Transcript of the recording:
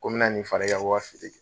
Ko minna nin fara i ka